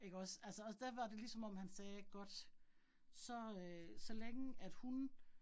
Ikke også, altså og der var det ligesom om han sagde godt, så øh så længe, at hun